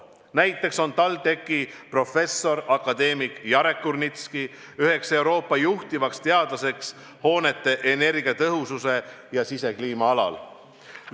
Näiteks on TalTechi professor akadeemik Jarek Kurnitski üks Euroopa juhtivatest teadlastest hoonete energiatõhususe ja sisekliima alal.